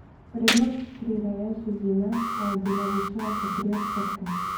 Vrednost prireje živine pa je bila višja za tri odstotke.